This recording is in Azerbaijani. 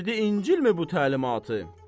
Verdin İncilmi bu təlimatı?